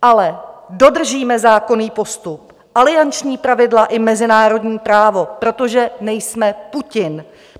Ale dodržíme zákonný postup, alianční pravidla i mezinárodní právo, protože nejsme Putin.